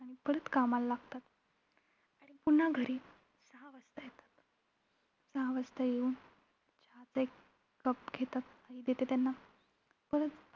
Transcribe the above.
आणि परत कामाला लागतात. आणि पुन्हा घरी सहा वाजता येतात. सहा वाजता येऊन चहाचा एक cup घेतात, आई देते त्यांना. परत